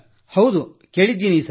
ಹೌದು ಕೇಳಿದ್ದೀನ ಸರ್